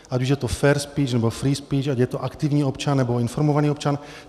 Ať už je to fair speech, nebo free speech, ať je to aktivní občan, nebo informovaný občan.